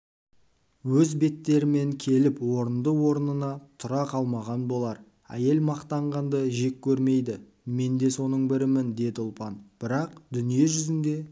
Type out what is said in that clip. өз беттерімен келіп орынды-орнына тұра қалмаған болар әйел мақтағанды жек көрмейді мен де соның бірімін деді ұлпан бірақ дүние жүзінде